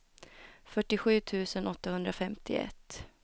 fyrtiosju tusen åttahundrafemtioett